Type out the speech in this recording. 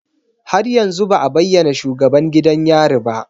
Har yanzu ba a bayyana shugaban gidan yari ba